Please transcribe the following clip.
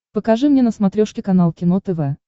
покажи мне на смотрешке канал кино тв